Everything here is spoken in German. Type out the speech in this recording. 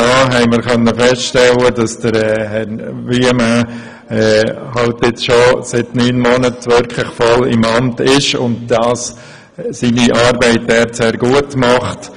Dabei konnten wir feststellen, dass Herr Wuillemin seit neun Monaten im Amt ist und seine Arbeit dort sehr gut macht.